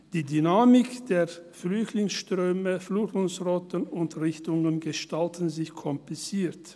Die Dynamik der Flüchtlingsströme, Flüchtlingsrouten und -richtungen gestalten sich kompliziert.